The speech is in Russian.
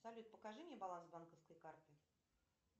салют покажи мне баланс банковской карты